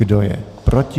Kdo je proti?